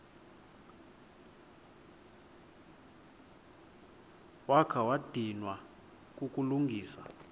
wakha wadinwa kukulungisa